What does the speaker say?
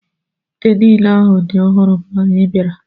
Ite niile ahụ dị ọhụrụ mgbe anyị bịara.